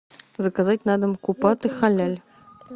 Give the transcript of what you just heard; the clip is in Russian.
заказать на дом купаты халяль